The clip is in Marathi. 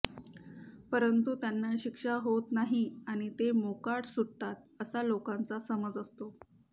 परंतु त्यांना शिक्षा होत नाही आणि ते मोकाट सुटतात असा लोकांचा समज असतो